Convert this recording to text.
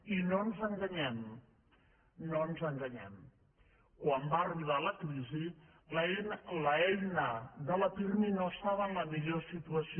i no ens enganyem no ens enganyem quan va arribar la crisi l’eina de la pirmi no estava en la millor situació